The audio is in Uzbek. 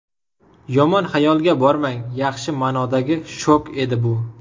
Yomon xayolga bormang yaxshi ma’nodagi shok edi bu!